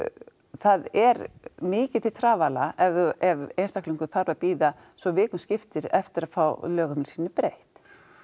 það er mikið til trafala ef einstaklingur þarf að bíða svo vikum skiptir eftir að fá lögheimili sínu breytt